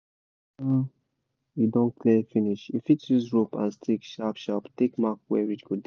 you don clear finish you fit use rope and stick sharp sharp take mark where ridge go